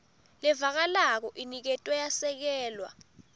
levakalako iniketwe yasekelwa